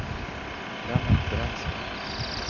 Lennart Brännström